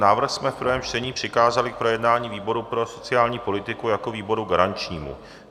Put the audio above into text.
Návrh jsme v prvém čtení přikázali k projednání výboru pro sociální politiku jako výboru garančnímu.